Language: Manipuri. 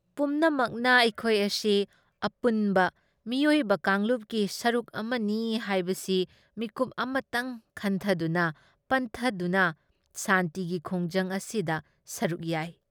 ꯄꯨꯝꯅꯃꯛꯅ ꯑꯩꯈꯣꯏ ꯑꯁꯤ ꯑꯄꯨꯟꯕ ꯃꯤꯑꯣꯏꯕ ꯀꯥꯡꯂꯨꯞꯀꯤ ꯁꯔꯨꯛ ꯑꯃꯅꯤ ꯍꯥꯏꯕꯁꯤ ꯃꯤꯀꯨꯞ ꯑꯃꯇꯪ ꯈꯟꯊꯗꯨꯅ ꯄꯟꯊꯗꯨꯅ ꯁꯥꯟꯇꯤꯒꯤ ꯈꯣꯡꯖꯪ ꯑꯁꯤꯗ ꯁꯔꯨꯛ ꯌꯥꯏ ꯫